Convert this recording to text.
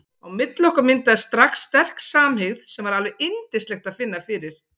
Á milli okkar myndaðist strax sterk samhygð sem var alveg yndislegt að finna fyrir.